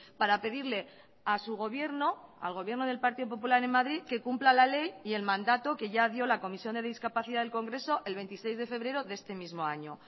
para pedirle a su gobierno al gobierno del partido popular en madrid que cumpla la ley y el mandato que ya dio la comisión de discapacidad del congreso el veintiséis de febrero de este mismo año